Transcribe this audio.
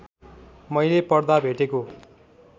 मैले पढ्दा भेटेको